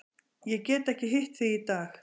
Ég get ekki hitt þig í dag.